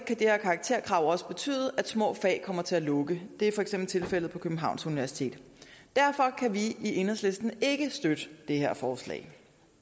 det her karakterkrav også betyde at små fag kommer til at lukke det er for eksempel tilfældet på københavns universitet derfor kan vi i enhedslisten ikke støtte det her forslag